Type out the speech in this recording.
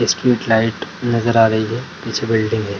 Street light नजर आ रही है पीछे बिल्डिंग है।